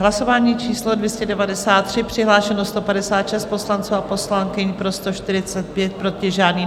Hlasování číslo 293, přihlášeno 156 poslanců a poslankyň, pro 145, proti žádný.